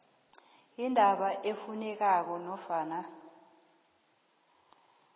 indaba efunekako nofana